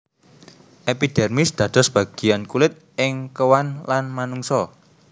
Epidermis dados bagian kulit ing kewan lan manungsa